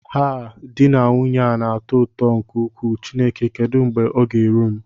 Haa, di na nwunye a na-atọ ụtọ nke ukwuu, Chineke kedu mgbe oga eru m?